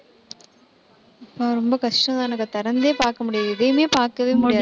ரொம்ப கஷ்டம்தானக்கா. திறந்தே பார்க்க முடியாது. எதையுமே பார்க்கவே முடியாது